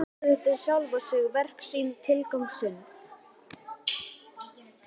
Efast stöðugt um sjálfan sig, verk sín, tilgang sinn.